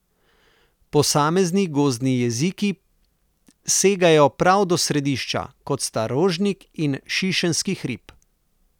Posamezni gozdni jeziki segajo prav do središča, kot sta Rožnik in Šišenski hrib.